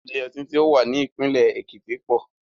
Ilé ọtí tó wà ní ìpínlẹ̀ Èkìtì pọ̀.